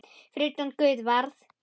Fyrir utan guð varð